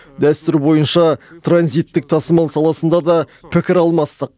дәстүр бойынша транзиттік тасымал саласында да пікір алмастық